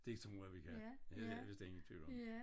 Det tror jeg vi kan det har jeg vist ingen tvivl om